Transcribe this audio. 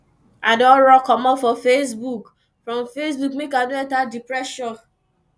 i don run comot from facebook from facebook make i no enta depression